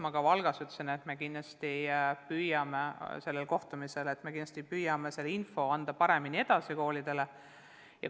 Ma ka Valgas toimunud kohtumisel ütlesin, et me kindlasti püüame selle info paremini koolidele edasi anda.